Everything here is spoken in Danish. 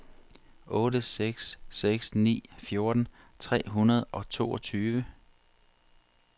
otte seks seks ni fjorten tre hundrede og toogtyve